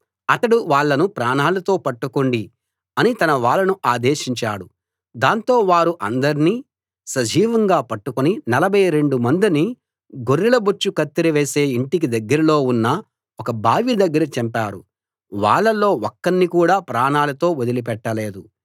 అతడు వాళ్ళను ప్రాణాలతో పట్టుకోండి అని తన వాళ్ళను ఆదేశించాడు దాంతో వారు అందర్నీ సజీవంగా పట్టుకుని నలభై రెండు మందిని గొర్రెల బొచ్చు కత్తెర వేసే ఇంటికి దగ్గరలో ఉన్న ఒక బావి దగ్గర చంపారు వాళ్ళలో ఒక్కణ్ణి కూడా ప్రాణాలతో వదిలిపెట్టలేదు